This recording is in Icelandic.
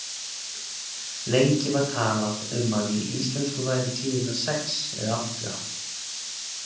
Lengi var talað um að í íslensku væru tíðirnar sex eða átta.